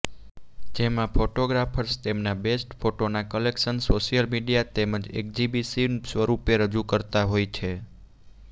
જેમા ફોટોગ્રાર્ફ્સ તેમના બેસ્ટ ફોટોના કલેક્શન સોશિયલ મીડિયા તેમજ એક્ઝિબિશન સ્વરૂપે રજૂ કરતા હોય છે